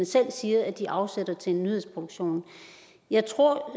selv siger de afsætter til nyhedsproduktion jeg tror